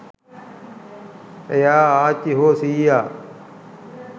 එයා ආච්චි හෝ සීයා